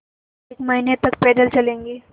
एक महीने तक पैदल चलेंगे